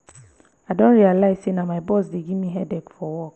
i don realize say na my boss dey give me headache for work